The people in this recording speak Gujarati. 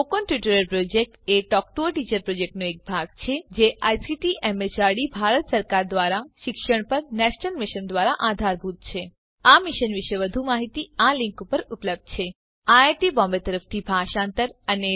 spoken tutorial project a talk to a teacher પ્રોજેક્ટનો એક ભાગ છે જે આઇસીટી એમએચઆરડી ભારત સરકાર દ્વારા શિક્ષણ પર નેશનલ મિશન દ્વારા આધારભૂત છે આ મિશન પર વધુ માહીતી આ લીંક પર ઉપલબ્ધ છે spoken hyphen tutorial dot org slash NMEICT hyphen intro